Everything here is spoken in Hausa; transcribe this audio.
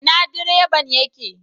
Ina direban ya ke?